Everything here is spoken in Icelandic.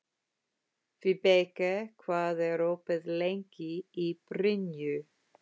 Vibeka, hvað er opið lengi í Brynju?